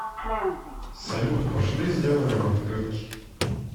салют пошли сделаем открытки